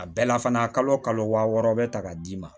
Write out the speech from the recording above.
A bɛɛ la fana kalo kalo waa wɔɔrɔ bɛ ta ka d'i ma